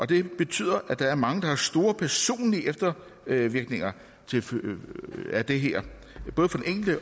det betyder at der er mange der har store personlige eftervirkninger af det her